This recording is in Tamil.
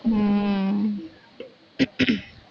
ஹம்